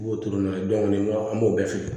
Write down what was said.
I b'o turu n'o ye an b'o bɛɛ feere